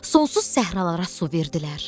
Sonsuz səhralara su verdilər.